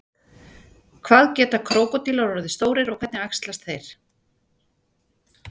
hvað geta krókódílar orðið stórir og hvernig æxlast þeir